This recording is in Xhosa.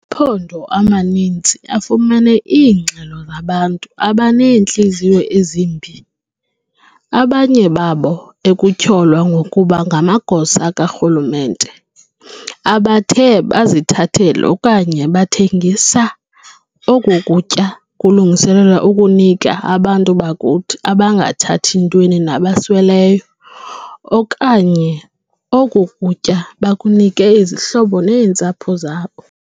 Amaphondo amaninzi afumene iingxelo zabantu abaneentliziyo ezimbi, abanye babo ekutyholwa ngokuba ngamagosa karhulumente, abathe bazithathela okanye bathengisa oku kutya kulungiselelwe ukunika abantu bakuthi abangathathi ntweni nabasweleyo, okanye oku kutya bakunike izihlobo neentsapho zabo.